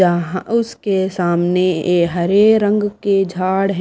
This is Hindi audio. जहां उसके सामने हरे रंग के जाड़ है।